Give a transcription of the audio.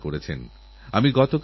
প্রতিযোগিতারবর্ণালী মেজাজ